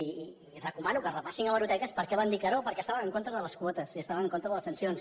i recomano que repassin hemeroteques per què van dir que no perquè estaven en contra de les quotes i estaven en contra de les sancions